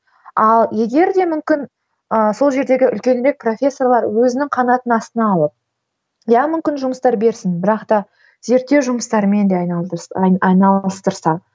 ал егер де мүмкін ыыы сол жердегі үлкен бек профессорлар өзінің қанатының астына алып иә мүмкін жұмыстар берсін бірақ та зерттеу жұмыстарымен де айналыстырса